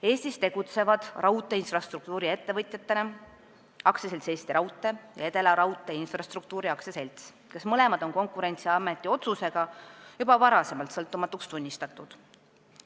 Eestis tegutsevad raudteeinfrastruktuuri-ettevõtjatena AS Eesti Raudtee ja Edelaraudtee Infrastruktuuri AS, kes mõlemad on Konkurentsiameti otsusega juba varem sõltumatuks tunnistatud.